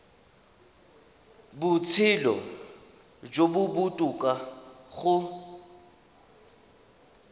botshelo jo bo botoka go